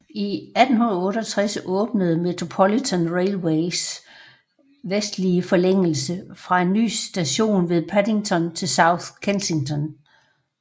I 1868 åbnede Metropolitan Railways vestlige forlængelse fra en ny station ved Paddington til South Kensington